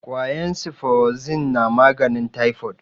kwayan siforozin na maganin taifod